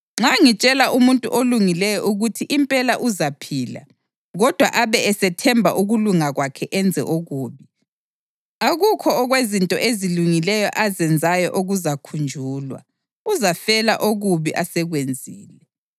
Nxa ngitshela umuntu olungileyo ukuthi impela uzaphila, kodwa abe esethemba ukulunga kwakhe enze okubi, akukho okwezinto ezilungileyo azenzayo okuzakhunjulwa; uzafela okubi asekwenzile.